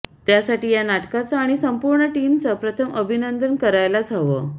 त्यासाठी या नाटकाचं आणि संपूर्ण टीमचं प्रथम अभिनंदन करायलाच हवं